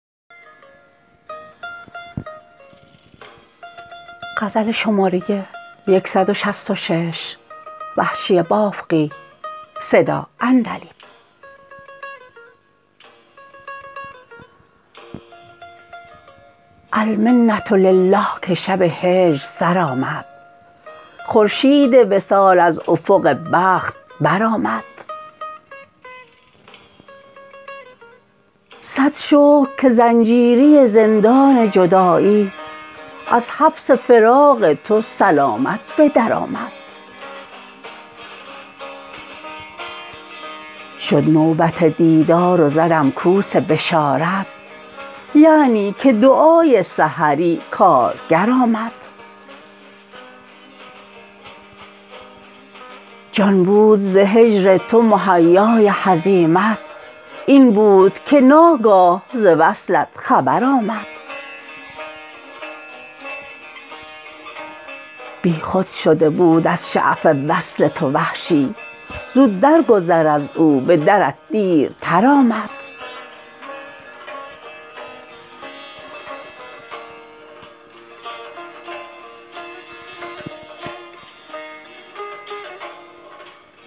المنةلله که شب هجر سر آمد خورشید وصال از افق بخت برآمد سد شکر که زنجیری زندان جدایی از حبس فراق تو سلامت بدرآمد شد نوبت دیدار و زدم کوس بشارت یعنی که دعای سحری کارگر آمد جان بود ز هجر تو مهیای هزیمت این بود که ناگاه ز وصلت خبرآمد بیخود شده بود از شعف وصل تو وحشی زو درگذر ار او به درت دیرتر آمد